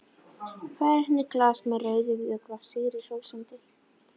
Færir henni glas með rauðum vökva sigri hrósandi.